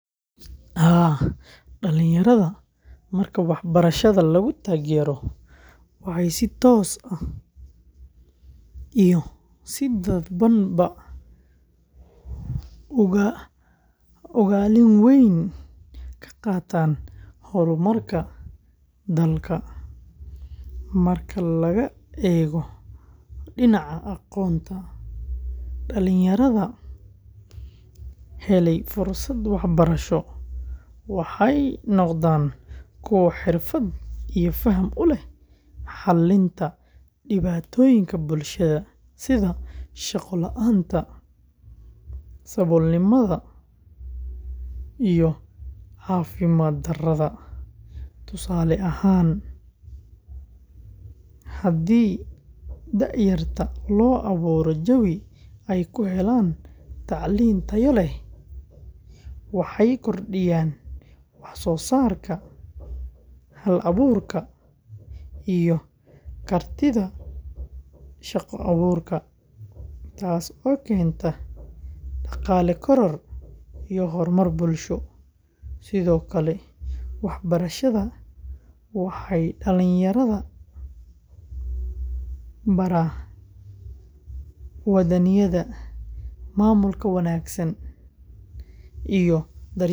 Haa, dhalinyarada marka waxbarashada lagu taageero waxay si toos ah iyo si dadbanba ugaalin weyn ka qaataan horumarka dalka. Marka laga eego dhinaca aqoonta, dhalinyarada helay fursado waxbarasho waxay noqdaan kuwo xirfad iyo faham u leh xalinta dhibaatooyinka bulshada, sida shaqo la’aanta, saboolnimada iyo caafimaad darrada. Tusaale ahaan, haddii da’yarta loo abuuro jawi ay ku helaan tacliin tayo leh, waxay kordhiyaan wax soo saarka, hal-abuurka, iyo kartida shaqo-abuurka taas oo keenta dhaqaale koror iyo horumar bulsho. Sidoo kale, waxbarashada waxay dhalinyarada baraa waddaniyadda, maamulka wanaagsan iyo daryeelka deegaanka.